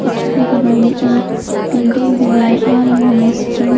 इसके बगल में एक बिल्डिंग भी नजर आ रहा है जिसमें--